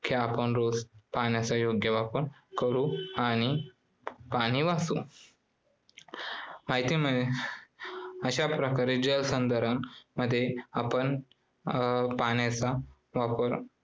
कि आपण रोज पाण्याचा योग्य वापर करू आणि पाणी वाचवू. अशाप्रकारे जलसंधारण मध्ये आपण पाण्याचा वापर